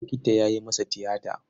Likita ya yi masa tiyata.